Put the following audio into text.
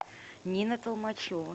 нина толмачева